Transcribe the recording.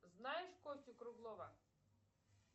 знаешь костю круглова